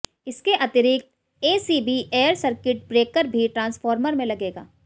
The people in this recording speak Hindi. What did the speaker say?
इसके अतिरिक्त एसीबी एअर सर्किट ब्रेकर भी ट्रान्सफार्मर पर लगेगा